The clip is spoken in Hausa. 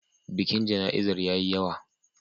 Bikin jana'izar ya yi yawa.